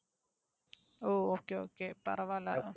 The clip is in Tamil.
ஓ Okay okay பரவாயில்ல